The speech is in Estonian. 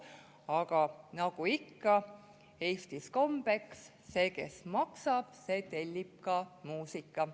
Aga nagu ikka Eestis kombeks, see, kes maksab, tellib ka muusika.